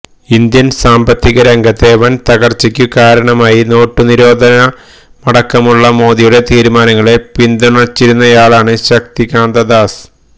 Indian സാമ്പത്തിക രംഗത്തെ വന് തകര്ച്ചക്കു കാരണമായി നോട്ടു നിരോധനമടക്കമുള്ള മോദിയുടെ തീരുമാനങ്ങളെ പിന്തുണച്ചിരുന്നയാളാണ് ശക്തികാന്ത ദാസ്